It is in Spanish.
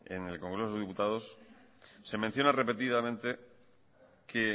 en el congreso de los diputados se menciona repetidamente que